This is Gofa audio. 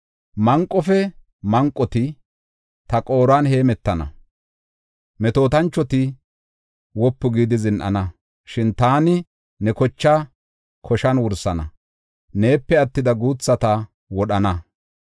Manqofe manqoti ta qooruwan heemetana; metootanchoti wopu gidi zin7ana. Shin taani ne kochaa koshan wursana; neepe attida guuthata wodhana.